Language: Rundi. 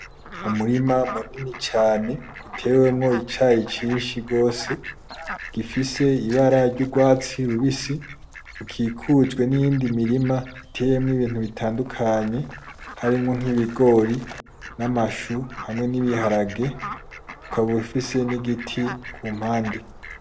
Umurima munini cane utewemwo icayi cinshi gose gifise ibara ry'urwatsi rubisi ukikujwe niyindi mirima iteyemwo ibintu bitandukanye harimwo nkibigori, n'amashu hamwe n'ibiharage, ukaba ufise n'igiti kumpande.